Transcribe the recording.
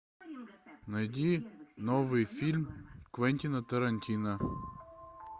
найди новый фильм квентина тарантино